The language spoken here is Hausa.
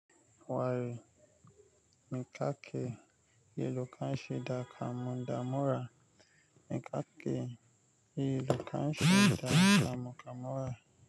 Wai me kake yi idan ka shiga damuwa? Mi ka ke, yi lu kan shi damu damura.